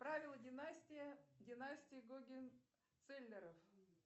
правила династия династия гогенцоллернов